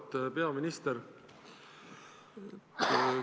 Auväärt peaminister!